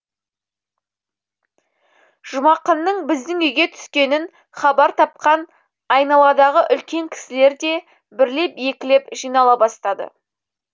жұмақынның біздің үйге түскенін хабар тапқан айналадағы үлкен кісілер де бірлеп екілеп жинала бастады